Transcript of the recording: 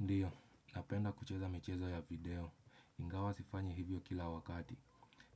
Ndiyo, napenda kucheza michezo ya video. Ingawa sifanyi hivyo kila wakati.